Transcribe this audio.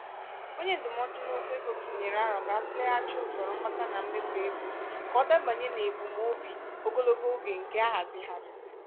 onye ndụmọdụ n'okwu ego tụnyere aro kà atụleghachi usoro mkpata na mmefu ego kà ọ dabanye n'ebum óbi ogologo oge nke ahazigharịrị.